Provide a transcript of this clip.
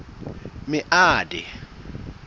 meade